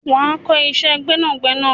Wà á kọ́ iṣẹ́ gbẹ́nàgbẹnà!